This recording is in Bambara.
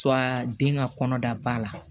den ka kɔnɔda la